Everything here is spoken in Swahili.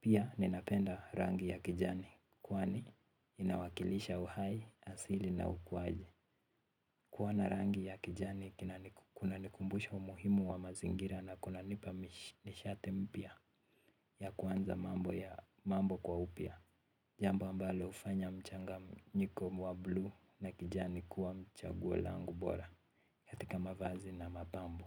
pia ninapenda rangi ya kijani, kwani inawakilisha uhai asili na ukuaji. Kuwa na rangi ya kijani kuna nikumbusha umuhimu wa mazingira na kuna nipa nishati mpya ya kuanza mambo kwa upya. Jambo ambalo hufanya mchanganyiko wa bluu na kijani kuwa chaguo langu bora. Katika mavazi na mapambo.